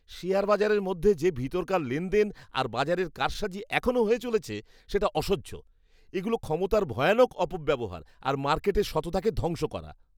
শেয়ারবাজারের মধ্যে যে ভিতরকার লেনদেন আর বাজারের কারসাজি এখনও হয়ে চলেছে, সেটা অসহ্য। এগুলো ক্ষমতার ভয়ানক অপব্যবহার, আর মার্কেটের সততাকে ধ্বংস করা।